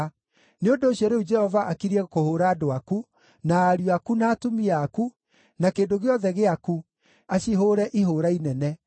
Nĩ ũndũ ũcio, rĩu Jehova akiriĩ kũhũũra andũ aku, na ariũ aku, na atumia aku, na kĩndũ gĩothe gĩaku, acihũũre ihũũra inene.